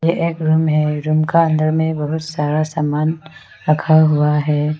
यह एक रूम का अंदर में बहुत सारा सामान रखा हुआ है।